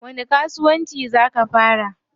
Wani kasuwanci zaa ka fara?